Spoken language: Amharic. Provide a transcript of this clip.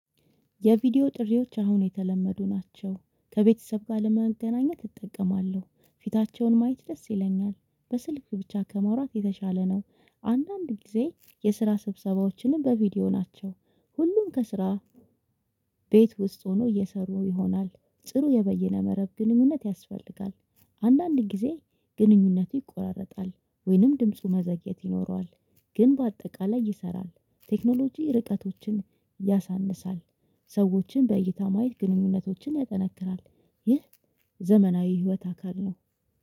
የቪዲዮ ጥሪዎች አሁን የተለመዱ ናቸው ከቤተሰብ ጋር ለመገናኘት እጠቀማለሁ ፊታቸውን ማየት ደስ ይለኛል። በስልክ ብቻ ከማውራት የተሻለ ነው። አንዳንድ ጊዜ የስራ ስብሰባዎችንም በቪዲዮ ናቸው። ሁሉም ከስራ ቤት ውስጥ ሆኖ እየሰሩ ይሆናል። ጥሩ የበየነ መረብ ግንኙነት ያስፈልጋል። አንዳንድ ጊዜ ግንኙነቱ ይቆራረጣል ወይንም ድምፁ መዘግየት ይኖረዋል። ግን በአጠቃላይ ይሰራል። ቴክኖሎጂ ርቀቶችን ያሳንሳል። ሰዎችን በእይታ ማየት ግንኙነቶችን ያጠነክራል። ይህ ዘመናዊ ህይወት አካል ነው